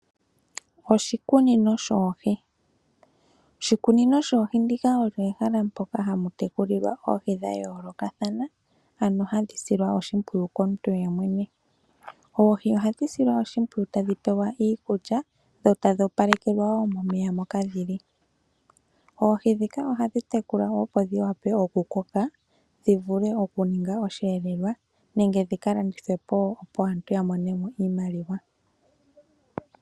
Oshikunino shoohi Oshikunino shoohi ndika olyo ehala mpoka hamu tekulilwa oohi dha yoolokathana, ano hadhi silwa oshimpwiyu komuntu ye mwene. Oohi ohadhi silwa oshimpwiyu tadhi pewa iikulya, dho tadhi opalekelwa woo momeya mpoka dhili. Oohi dhika ohadhi tekulwa opo dhi wa pe oku koka , dhi vule oku ninga osheelelwa nenge dhika landithwe po ,opo aantu ya mone mo iimaliwa.